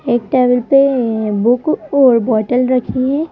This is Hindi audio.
एक टेबल पे अ बुक और बॉटल रखी है।